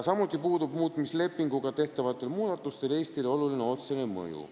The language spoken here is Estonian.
Samuti puudub muutmislepinguga tehtavatel muudatustel Eestile oluline otsene mõju.